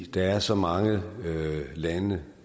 der er så mange lande